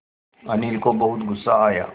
अनिल को बहुत गु़स्सा आया